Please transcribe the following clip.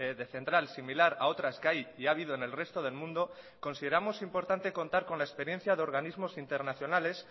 de central similar a otras que hay y ha habido en el resto del mundo consideramos importante contar con la experiencia de organismos internacionales